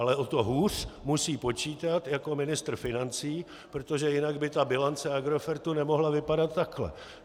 Ale o to hůř musí počítat jako ministr financí, protože jinak by ta bilance Agrofertu nemohla vypadat takhle.